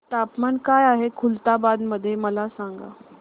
तापमान काय आहे खुलताबाद मध्ये मला सांगा